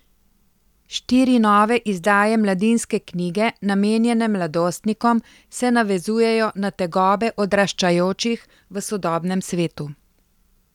Štiri nove izdaje Mladinske knjige, namenjene mladostnikom, se navezujejo na tegobe odraščajočih v sodobnem svetu.